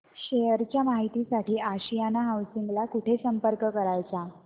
share च्या माहिती साठी आशियाना हाऊसिंग ला कुठे संपर्क करायचा